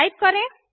type करें